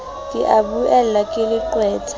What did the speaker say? ke a buellwa ke leqwetha